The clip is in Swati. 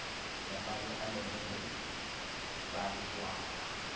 lamaye alungele bantfuara